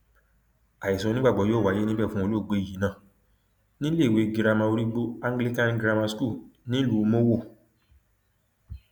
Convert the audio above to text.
àìsùn onígbàgbọ yóò wáyé níbẹ fún olóògbé yìí náà ní iléèwé girama origbo anglican grammar school nílùú mòro